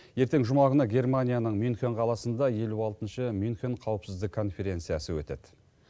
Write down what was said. ертең жұма күні германияның мюнхен қаласында елу алтыншы мюнхен қауіпсіздік конференциясы өтеді